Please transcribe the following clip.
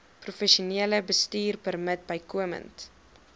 professionele bestuurpermit bykomend